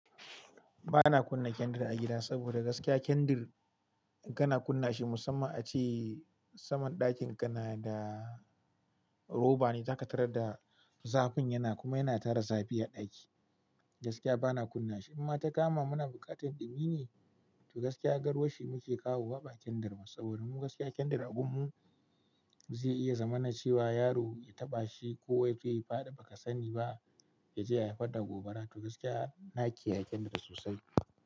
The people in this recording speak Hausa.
Ba na kunna kendir a gida saboda gaskiya kendir in kana kunna shi musamman ace saman ɗakin ka na da roba ne, zaka tarar da zafin yana kuma yana tara zafi a ɗaki. Gaskiya ba na kunna shi in ma ta kama muna buƙatar ɗumi ne, to gaskiya garwashi muke kawo ba kendir ba. Saboda mu gaskiya kendir a gun mu zai iya zamana cewa yaro ya taɓa shi ko yaje ya faɗi baka sani ba yaje ya haifar da gobara. To gaskiya nake kiyaye kendir sosai.